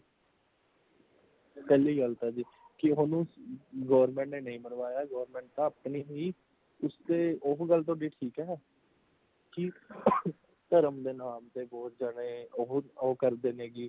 ਪਹਲੀ ਗੱਲ ਤੇ ਜੀ ਉਨੂੰ government ਨੇ ਨਹੀਂ ਮਰਵਾਇਆ, ਉਸਤੇ ਉਹ ਗੱਲ ਤੁਹਾਡੀ ਠੀਕ ਹੈ ਕੀ ਧਰਮ ਦੇ ਨਾਮ ਤੇ ਬਹੁਤ ਜ਼ਿਆਦਾ ਉਹੋ ਉਹ ਕਰਦੇ ਨੇ ਕੀ